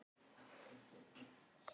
Líttu á Tóta.